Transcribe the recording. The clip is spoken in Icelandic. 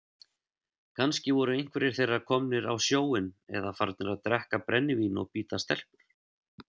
Kannski voru einhverjir þeirra komnir á sjóinn eða farnir að drekka brennivín og bíta stelpur.